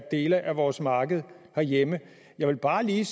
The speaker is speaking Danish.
dele af vores marked herhjemme jeg vil bare lige